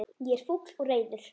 Ég er fúll og reiður.